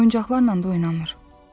Oyuncaqlarla da oynamır.